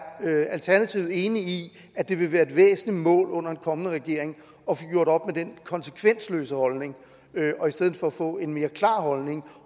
alternativet enig i at det vil være et væsentligt mål under en kommende regering at få gjort op med den konsekvensløse holdning og i stedet for få en mere klar holdning